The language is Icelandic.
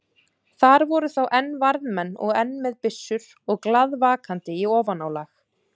Þar voru þá enn varðmenn og enn með byssur og glaðvakandi í ofanálag.